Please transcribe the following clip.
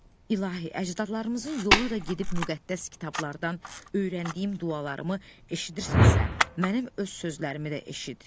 İlahi, əcdadlarımızın yolu ilə gedib müqəddəs kitablardan öyrəndiyim dualarımı eşidirsənsə, mənim öz sözlərimi də eşit.